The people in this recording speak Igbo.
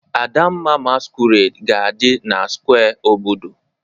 Adamma masquerade ga-adị na square obodo